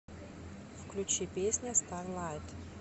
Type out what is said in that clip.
включи песня старлайт